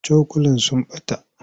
Cokulan sun ɓata.